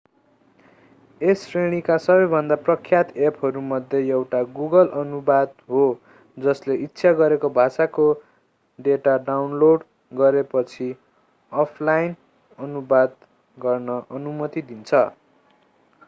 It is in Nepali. यस श्रेणीका सबैभन्दा प्रख्यात एपहरूमध्ये एउटा गुगल अनुवाद हो जसले इच्छा गरेको भाषाको डेटा डाउनलोड गरेपछि अफलाइन अनुवाद गर्ने अनुमति दिन्छ